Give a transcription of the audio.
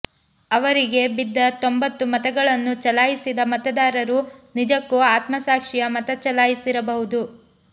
ಅವರಿಗೆ ಬಿದ್ದ ತೊಂಬತ್ತು ಮತಗಳನ್ನು ಚಲಾಯಿಸಿದ ಮತದಾರರು ನಿಜಕ್ಕೂ ಆತ್ಮಸಾಕ್ಷಿಯ ಮತ ಚಲಾಯಿಸಿರಬಹುದು